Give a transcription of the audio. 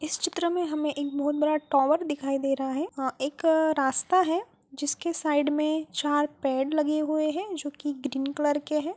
इस चित्र में हमें एक बहुत बड़ा टोवर दिखाई दे रहा है। अं एक रास्ता है जिसके साइड में चार पेड़ लगे हुए है जो कि ग्रीन कलर के हैं।